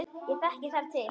Ég þekki þar til.